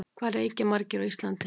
Hvað reykja margir á Íslandi?